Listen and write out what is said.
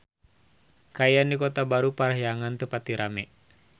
Kaayaan di Kota Baru Parahyangan teu pati rame